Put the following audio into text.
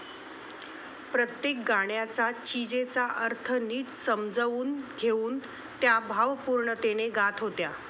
प्रत्येक गाण्याचा, चीजेचा अर्थ निट समजावून घेऊन त्या भावपूर्णतेने गात होत्या.